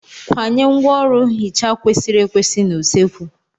Kwanye ngwaọrụ nhicha kwesịrị ekwesị n'usekwu.